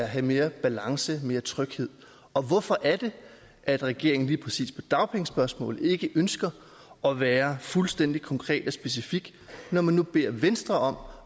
have mere balance mere tryghed og hvorfor er det at regeringen på lige præcis dagpengespørgsmålet ikke ønsker at være fuldstændig konkret og specifik når man nu beder venstre om